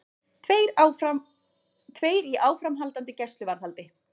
Tveir í áframhaldandi gæsluvarðhald